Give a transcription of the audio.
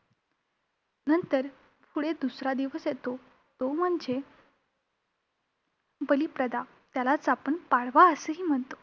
नंतर पुढे दुसरा दिवस येतो तो म्हणजे बलिप्रदा. त्यालाच आपण पाडवा असेही म्हणतो.